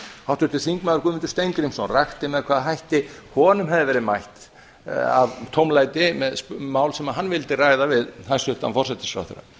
háttvirtur þingmaður guðmundur steingrímsson rakti með hvaða hætti honum hefði verið mætt af tómlæti með mál sem hann vildi ræða við hæstvirtan forsætisráðherra